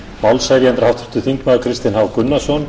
málshefjandi er háttvirtur þingmaður kristinn h gunnarsson